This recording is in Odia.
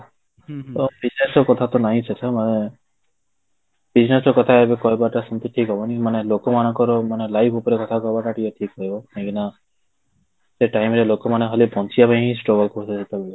କଥା ତ ନାଇଁ ସେସବୁ ମାନେ କଥା ଏବେ କହିବା ଟା ଠିକ ହବନି ମାନେ ଲୋକ ମାନଙ୍କର ମାନେ live ଉପରେ କଥା କହିବା ଟା ଠିକ ରହିବ କାହିଁକି ନା ସେ time ରେ ଲୋକ ମାନେ ଖାଲି ବଞ୍ଚିବା ପାଇଁ ହିଁ struggle କରୁଥିଲେ